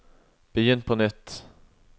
begynn på nytt